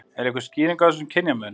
Er einhver skýring á þessum kynjamun?